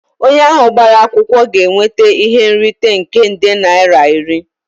Onye ahụ gbara akwụkwọ ga-enweta ihe nrite nke nde naira iri